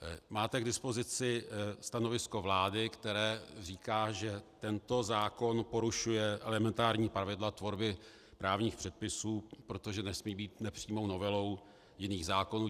Máte k dispozici stanovisko vlády, které říká, že tento zákon porušuje elementární pravidla tvorby právních předpisů, protože nesmí být nepřímou novelou jiných zákonů.